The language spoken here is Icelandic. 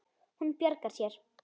Hún bjargar sér.